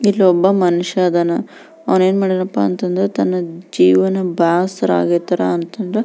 ಇಲ್ಲೊಬ್ಬ ಮನುಷ್ಯ ಅದನ ಅವನೇನ್ ಮಾಡಿದಾನಪ್ಪ ಅಂತ್ಂದ್ರೆ ತನ್ನ ಜೀವನ ಬ್ಯಾಸರ ಆಗೇತಿ ಅಂತಂದು --